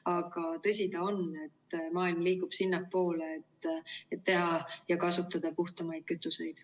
Aga tõsi ta on, et maailm liigub sinnapoole, et teha ja kasutada puhtamaid kütuseid.